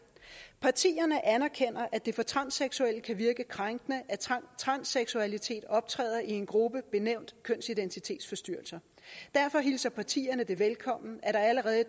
partierne anerkender at det for transseksuelle kan virke krænkende at transseksualitet optræder i en gruppe benævnt kønsidentitetsforstyrrelser derfor hilser partierne det velkommen at der allerede i